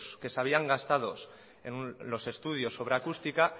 que se habían gastado en los estudios sobre acústica